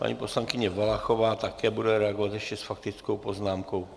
Paní poslankyně Valachová bude také reagovat ještě s faktickou poznámkou.